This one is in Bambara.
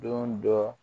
Don dɔ